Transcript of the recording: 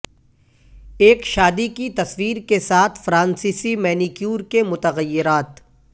ایک شادی کی تصویر کے ساتھ فرانسیسی مینیکیور کے متغیرات